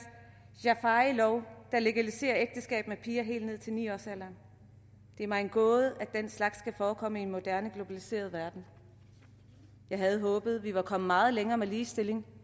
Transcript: jaafarilov der legaliserer ægteskab med piger helt ned til ni årsalderen det er mig en gåde at den slags kan forekomme i en moderne globaliseret verden jeg havde håbet vi var kommet meget længere med ligestilling